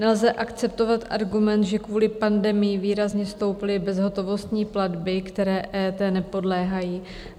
Nelze akceptovat argument, že kvůli pandemii výrazně stouply bezhotovostní platby, které EET nepodléhají.